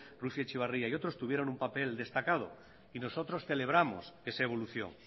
lucía etxebarri y otros tuvieron un papel destacado y nosotros celebramos esa evolución